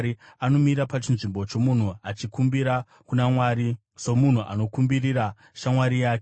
anomira pachinzvimbo chomunhu achikumbira kuna Mwari, somunhu anokumbirira shamwari yake.